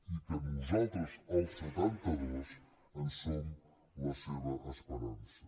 i que nosaltres els setantados en som la seva esperança